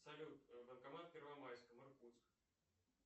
салют банкомат в первомайском иркутск